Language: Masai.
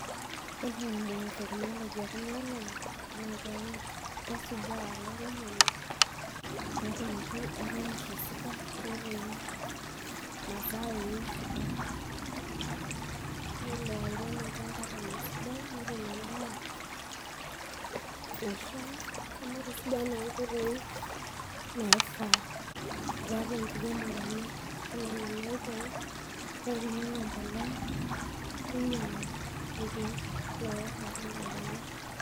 Yiolo eimu technology ekunoolong'i, na kesujaa olairemoni, petumoki airemisho esidai, netum mazao enye sidai. Lelo airem olchamba lenye esidai netum endaa, naishaa amu etusuja naa nkoitoi naifaa tiatu enkiremore enye. Ore nena oitoi, na kinyang'u embolea, ninyang'u irkeek loowosh olchamba lenye.